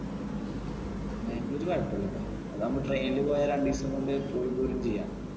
ബാംഗ്ലൂര്‍ കുഴപ്പില്ലാട്ടോ അതാവുമ്പോ train ൽ പോയാൽ രണ്ടുദിവസം കൊണ്ട് പോയി പോരും ചെയ്യാം.